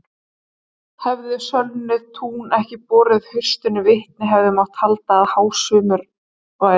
Hefðu sölnuð tún ekki borið haustinu vitni hefði mátt halda að hásumar væri.